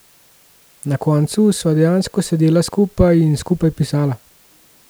Na koncu sva dejansko sedela skupaj in skupaj pisala.